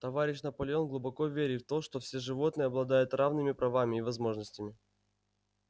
товарищ наполеон глубоко верит в то что все животные обладают равными правами и возможностями